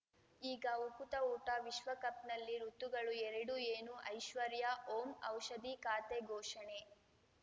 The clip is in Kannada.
ಈಗ ಉಕುತ ಊಟ ವಿಶ್ವಕಪ್‌ನಲ್ಲಿ ಋತುಗಳು ಎರಡು ಏನು ಐಶ್ವರ್ಯಾ ಓಂ ಔಷಧಿ ಖಾತೆ ಘೋಷಣೆ